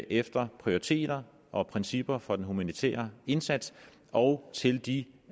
efter prioriteringer og principper for den humanitære indsats og til de